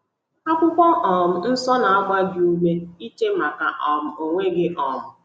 Akwụkwọ um nsọ na - agba gị ume iche make um onwe gị um.